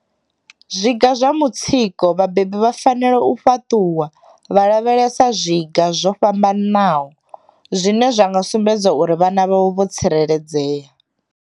Zwiga zwa mutsiko vhabebi vha fanela u fhaṱuwa vha lavhelesa zwiga zwo fha mbanaho zwine zwa nga sumbedza uri vhana vhavho vho tsireledzea.